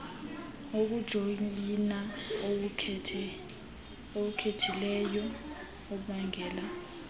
wokujoyina owukhethileyo ubangela